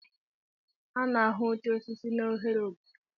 A na-ahụ oche osisi n'ohere obodo.